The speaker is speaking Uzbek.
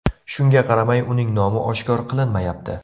Shunga qaramay, uning nomi oshkor qilinmayapti.